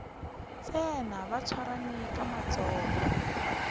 tsena ba swarane ka matsogo